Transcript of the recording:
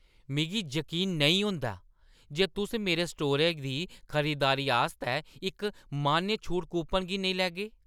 मिगी जकीन नेईं होंदा जे तुस मेरे स्टोरै दी खरीदारी आस्तै इस मान्य छूट कूपन गी नेईं लैगे।